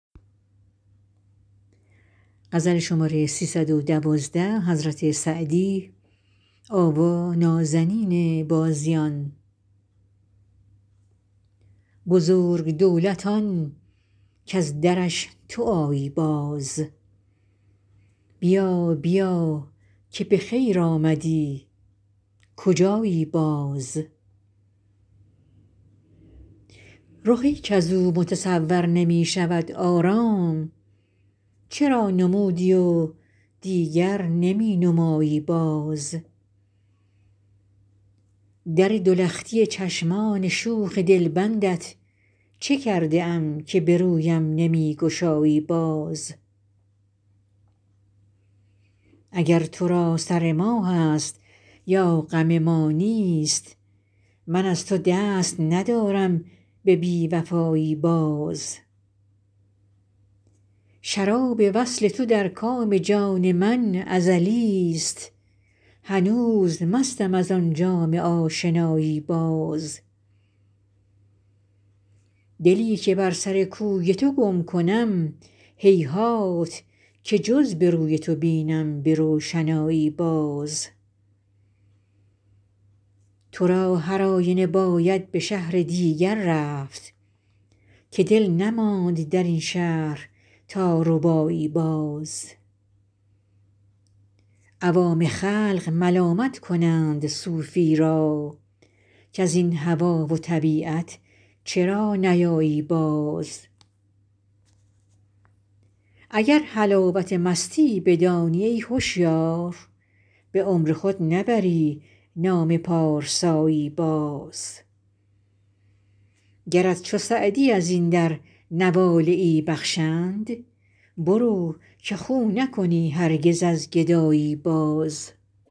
بزرگ دولت آن کز درش تو آیی باز بیا بیا که به خیر آمدی کجایی باز رخی کز او متصور نمی شود آرام چرا نمودی و دیگر نمی نمایی باز در دو لختی چشمان شوخ دلبندت چه کرده ام که به رویم نمی گشایی باز اگر تو را سر ما هست یا غم ما نیست من از تو دست ندارم به بی وفایی باز شراب وصل تو در کام جان من ازلیست هنوز مستم از آن جام آشنایی باز دلی که بر سر کوی تو گم کنم هیهات که جز به روی تو بینم به روشنایی باز تو را هر آینه باید به شهر دیگر رفت که دل نماند در این شهر تا ربایی باز عوام خلق ملامت کنند صوفی را کز این هوا و طبیعت چرا نیایی باز اگر حلاوت مستی بدانی ای هشیار به عمر خود نبری نام پارسایی باز گرت چو سعدی از این در نواله ای بخشند برو که خو نکنی هرگز از گدایی باز